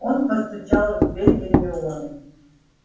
он постучал в дверь гермионы